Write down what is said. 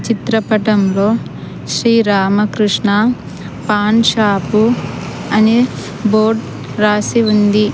చిత్రపటంలో శ్రీ రామకృష్ణ పాన్ షాపు అని బోర్డ్ రాసి ఉంది.